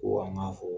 Ko an ka fɔ